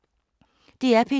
DR P2